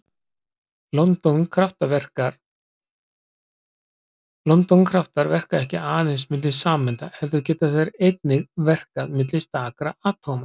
London-kraftar verka ekki aðeins milli sameinda heldur geta þeir einnig verkað milli stakra atóma.